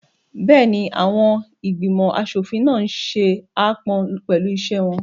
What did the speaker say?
Bẹ́ẹ̀ni, àwọn ìgbìmọ̀ aṣòfin náà n ṣe aápọn pẹ̀lú iṣẹ́ wọn